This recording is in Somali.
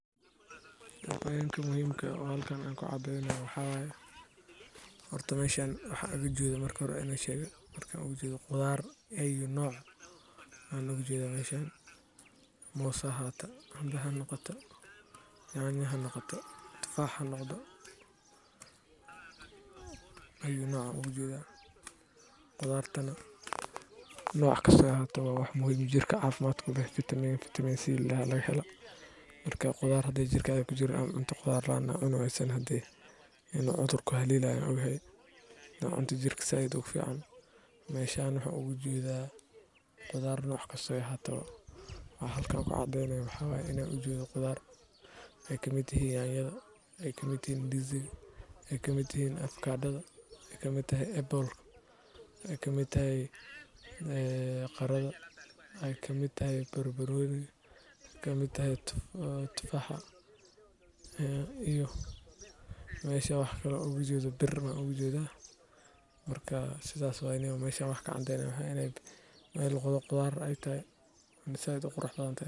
Meshan waxan oga jedha qudarta ayu noc hanoqoto, dhigaysa kuwo kor u qaada difaaca jirka, hagaajiya dheefshiidka, iyo caafimaadka guud. Dadka iibsada miraha iyo khudaarta suuqa waa in ay doortaan kuwo cusub, nadiif ah, kana fogaadaan kuwa duugoobay ama wasakhaysan. Nafaqada laga helo miraha iyo khudaarta suuqyada waa qayb muhiim ah oo lagu dhiso caafimaad qoyska iyo bulshada. Intaa waxaa dheer, suuqyada khudaarta waxay sidoo kale fursad u yihiin dakhli abuur iyo shaqo-siinta beeraleyda iyo ganacsatada yar-yar.